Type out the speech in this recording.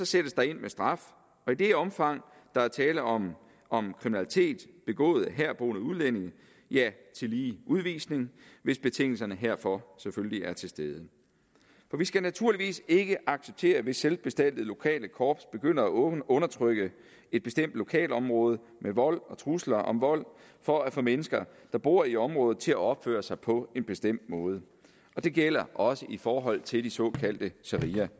sættes der ind med straf og i det omfang der er tale om om kriminalitet begået af herboende udlændinge tillige udvisning hvis betingelserne herfor selvfølgelig er til stede for vi skal naturligvis ikke acceptere hvis selvbestaltede lokale korps begynder at undertrykke et bestemt lokalområde med vold og trusler om vold for at få mennesker der bor i området til at opføre sig på en bestemt måde det gælder også i forhold til de såkaldte såkaldte